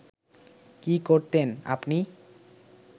কী করতেন আপনি